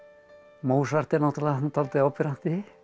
Mozart er náttúrulega dálítið áberandi